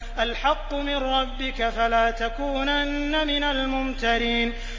الْحَقُّ مِن رَّبِّكَ ۖ فَلَا تَكُونَنَّ مِنَ الْمُمْتَرِينَ